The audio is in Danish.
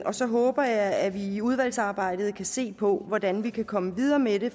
og så håber jeg at vi i udvalgsarbejdet kan se på hvordan vi kan komme videre med det